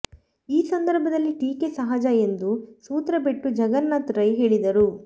ಈ ಸಂದರ್ಭದಲ್ಲಿ ಟೀಕೆ ಸಹಜ ಎಂದು ಸೂತ್ರಬೆಟ್ಟು ಜಗನ್ನಾಥ ರೈ ಹೇಳಿದರು